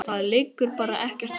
Það liggur bara ekkert á.